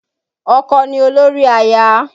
Ọkọ ni olórí aya